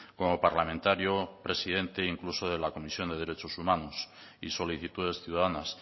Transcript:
como parlamentario presidente incluso de la comisión de derechos humanos y solicitudes ciudadanas